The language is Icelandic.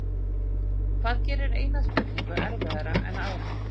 Hvað gerir eina spurningu erfiðari en aðra?